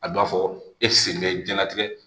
A dɔn ka fɔ e sen bɛ diɲɛlatigɛ